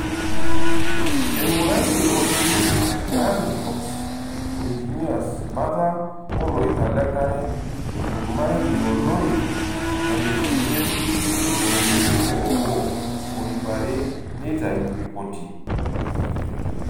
Einguraitie olturrur le Army Corps of Engineers bata oloirag lenkare toomailoi nkalifuni tomoniuni oobo oo iip rae neitayu ripoti.